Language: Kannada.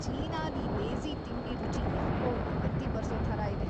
ಚೀನಾದ್ ಈ ದೇಸೀ ತಿಂಡಿ ರುಚಿ‌ ಯಾಕೋ ವಾಂತಿ ಬರ್ಸೋ ಥರ ಇದೆ.